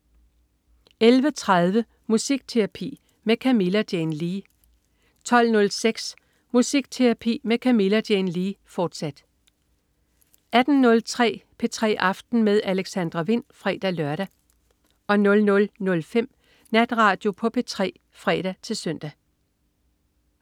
11.30 Musikterapi med Camilla Jane Lea 12.06 Musikterapi med Camilla Jane Lea, fortsat 18.03 P3 aften med Alexandra Wind (fre-lør) 00.05 Natradio på P3 (fre-søn)